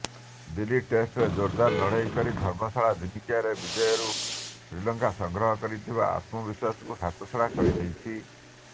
ଦିଲ୍ଲୀ ଟେଷ୍ଟ୍ରେ ଜୋରଦାର ଲଢ଼େଇ ପରେ ଧର୍ମଶାଳା ଦିନିକିଆରେ ବିଜୟରୁ ଶ୍ରୀଲଙ୍କା ସଂଗ୍ରହ କରିଥିବା ଆତ୍ମବିଶ୍ୱାସକୁ ହାତଛଡ଼ା କରି ଦେଇଛି